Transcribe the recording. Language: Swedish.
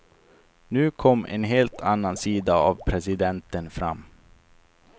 Nu kom en helt annan sida av presidenten fram.